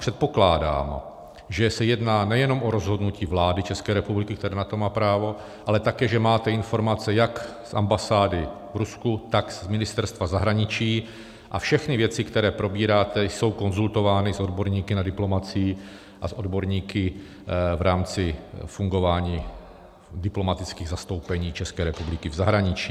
Předpokládám, že se jedná nejenom o rozhodnutí vlády České republiky, která na to má právo, ale také že máte informace jak z ambasády v Rusku, tak z Ministerstva zahraničí, a všechny věci, které probíráte, jsou konzultovány s odborníky na diplomacii a s odborníky v rámci fungování diplomatických zastoupení České republiky v zahraničí.